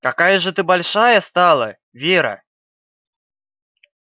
какая же ты большая стала вера